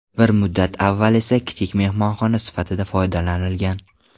Bir muddat avval esa u kichik mehmonxona sifatida foydalanilgan.